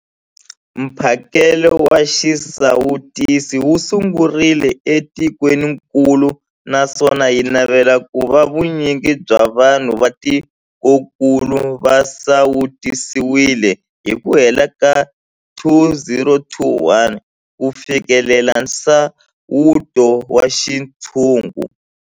Mphakelo wa xisawutisi wu sungurile etikwenikulu naswona hi navela ku va vu nyingi bya vanhu va tikokulu va sawutisiwile hi ku hela ka 2021 ku fikelela nsawuto wa xintshungu.